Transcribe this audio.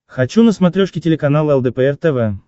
хочу на смотрешке телеканал лдпр тв